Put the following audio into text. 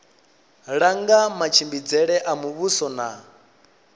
langa matshimbidzele a muvhuso na